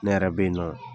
Ne yɛrɛ bɛ yen nɔ